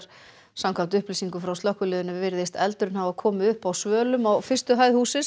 samkvæmt upplýsingum frá slökkviliðinu virðist eldurinn hafa komið upp á svölum á fyrstu hæð hússins